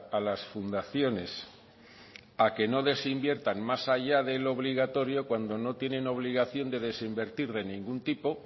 a las fundaciones a que no desinviertan más allá de lo obligatorio cuando no tienen obligación de desinvertir de ningún tipo